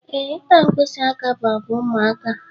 Ee, ịta mkpisi aka bụ àgwà ụmụaka.